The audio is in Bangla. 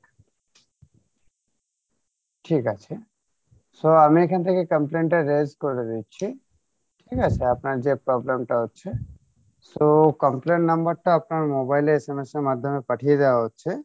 ঠিক আছে so আমি এখান থেকে complain টা raise করে দিচ্ছি ঠিক আছে আপনার যে problem টা হচ্ছে so complain number টা আপনার mobile এ SMS এর মাধ্যমে পাঠিয়ে দেওয়া হচ্ছে